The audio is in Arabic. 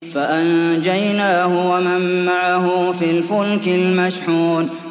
فَأَنجَيْنَاهُ وَمَن مَّعَهُ فِي الْفُلْكِ الْمَشْحُونِ